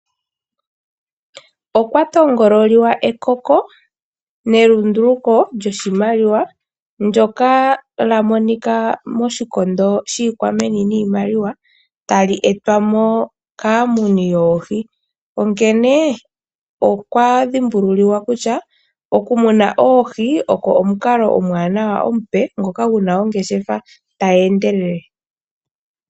Okwa tongololiwa ekoko nelunduluko lyoshimaliwa ndyoka lya monika moshikondo shiikwameni niimaliwa tali etwa mo kaamuni yoohi. Onkene okwa dhimbululiwa kutya oku muna oohi oko omukalo omuwanawa omupe ngoka guna ongeshefa tayi endelele.